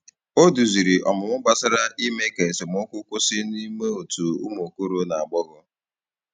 Ọ duzìrì ọmụmụ gbasàrà ime ka esemokwu kwụsị n’ime òtù umu okoro na agbogho.